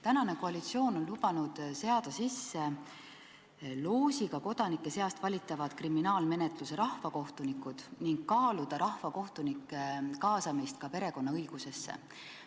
Tänane koalitsioon on lubanud seada sisse loosiga kodanike seast valitavad kriminaalmenetluse rahvakohtunikud ning kaaluda rahvakohtunike kaasamist ka perekonnaõigusesse.